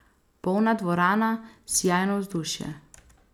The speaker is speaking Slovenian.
Polna dvorana, sijajno vzdušje.